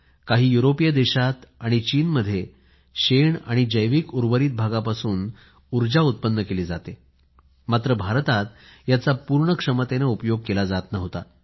काही युरोपीय देशात आणि चीन मध्ये शेण आणि जैविक उर्वरित भागापासून उर्जा उत्पन्न केली जाते मात्र भारतात याचा पूर्ण क्षमतेने उपयोग केला जात नव्हता